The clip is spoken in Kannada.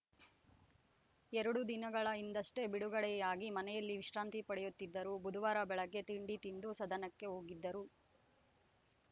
ಎರಡು ದಿನಗಳ ಹಿಂದಷ್ಟೇ ಬಿಡುಗಡೆಯಾಗಿ ಮನೆಯಲ್ಲಿ ವಿಶ್ರಾಂತಿ ಪಡೆಯುತ್ತಿದ್ದರು ಬುಧುವಾರ ಬೆಳಗ್ಗೆ ತಿಂಡಿ ತಿಂದು ಸದನಕ್ಕೆ ಹೋಗಿದ್ದರು